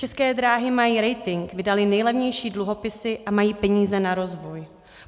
České dráhy mají rating, vydaly nejlevnější dluhopisy a mají peníze na rozvoj.